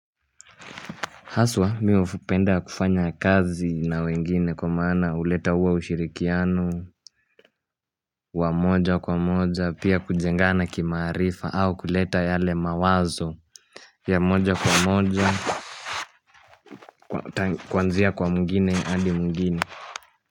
Haswa mi wa hupenda kufanya kazi na wengine kwa maana uleta uwa ushirikiano wa moja kwa moja pia kujengana kimaarifa au kuleta yale mawazo ya moja kwa moja kuanzia kwa mwigine andi mwigine.